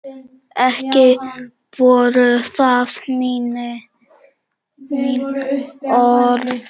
Ekki voru það mín orð!